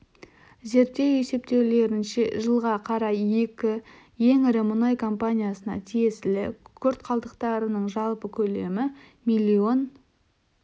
зерттеу есептеулерінше жылға қарай екі ең ірі мұнай компаниясына тиесілі күкірт қалдықтарының жалпы көлемі миллион